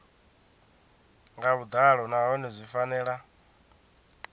nga vhuḓalo nahone zwi fanela